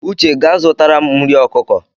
Uche gaa zụtara m nri ọkụkọ!